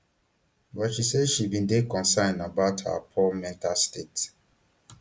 but she say she bin dey concerned about her poor mental state